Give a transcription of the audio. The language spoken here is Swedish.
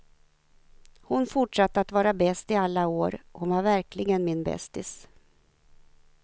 Hon fortsatte att vara bäst i alla år, hon var verkligen min bästis.